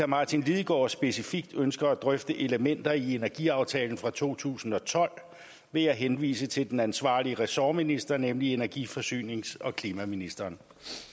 martin lidegaard specifikt ønsker at drøfte elementer i energiaftalen for to tusind og tolv vil jeg henvise til den ansvarlige ressortminister nemlig energi forsynings og klimaministeren